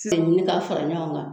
K'a ɲini ka fara ɲɔgɔn kan